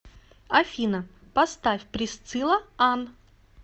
афина поставь присцила ан